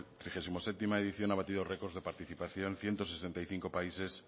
trigesimoséptima edición ha batido récords de participación ciento sesenta y cinco países